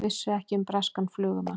Vissu ekki um breskan flugumann